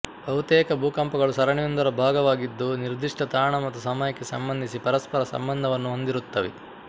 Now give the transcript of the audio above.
ಬಹುತೇಕ ಭೂಕಂಪಗಳು ಸರಣಿಯೊಂದರ ಭಾಗವಾಗಿದ್ದು ನಿರ್ದಿಷ್ಟ ತಾಣ ಮತ್ತು ಸಮಯಕ್ಕೆ ಸಂಬಂಧಿಸಿ ಪರಸ್ಪರ ಸಂಬಂಧವನ್ನು ಹೊಂದಿರುತ್ತವೆ